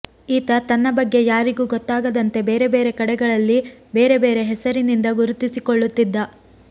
ಈತ ತನ್ನ ಬಗ್ಗೆ ಯಾರಿಗೂ ಗೊತ್ತಾಗದಂತೆ ಬೇರೆ ಬೇರೆ ಕಡೆಗಳಲ್ಲಿ ಬೇರೆ ಬೇರೆ ಹೆಸರಿನಿಂದ ಗುರುತಿಸಿಕೊಳ್ಳುತ್ತಿದ್ದ